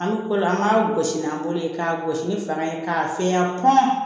An bɛ ko la an b'a gosi n'an bolo ye k'a gosi ni fanga ye k'a fɛgɛya pɔ